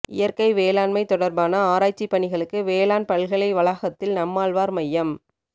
இயற்கை வேளாண்மை தொடர்பான ஆராய்ச்சி பணிகளுக்கு வேளாண் பல்கலை வளாகத்தில் நம்மாழ்வார் மையம்